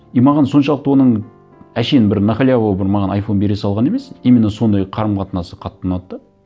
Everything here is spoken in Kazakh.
и маған соншалықты оның әншейін бір на халяву бір маған айфон бере салғаны емес именно сондай қарым қатынасы қатты ұнады да